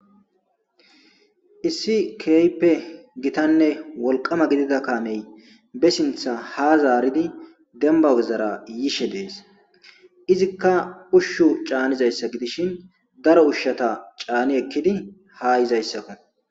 Issi keehippe githanne wolqqama gidida kaamey be sinththa ha zaaridi dembba wizara yishe de7ees; izikka ushshu caanizayssa gidishin daro ushshatha caani ekkidi ha yizayssakko.